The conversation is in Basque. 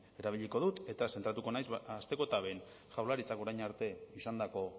erabiliko dut eta zentratuko naiz hasteko eta behin jaurlaritzak orain arte izandako